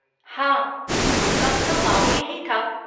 हाँ, भूकंप तो मामूली ही था।